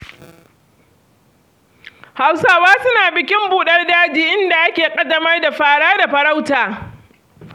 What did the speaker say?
Hausawa suna bikin buɗar daji inda ake ƙaddamar da fara da farauta.